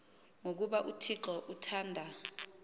ngokuba uthixo uthanda